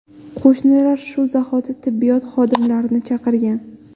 Qo‘shnilar shu zahoti tibbiyot xodimlarini chaqirgan.